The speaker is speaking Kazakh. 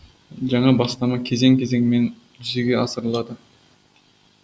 жаңа бастама кезең кезеңмен жүзеге асырылады